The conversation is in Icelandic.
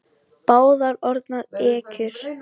Báðar orðnar ekkjur.